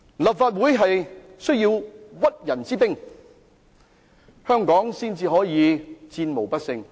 立法會需要屈人之兵，香港才可戰無不勝。